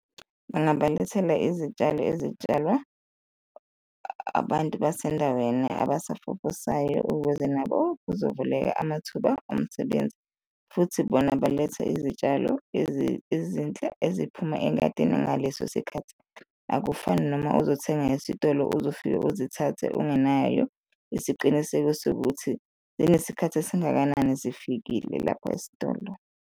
Bangabalethela izitshalo ezitshalwa abantu basendaweni abasafufusayo ukuze nabo kuzovuleka amathuba omsebenzi. Futhi bona baletha izitshalo ezinhle eziphuma engadini ngaleso sikhathi, akufani noma uzothenga esitolo, uzofike uzithathe ungenayo isiqiniseko sokuthi zinesikhathi esingakanani zifikile lapho esitolo.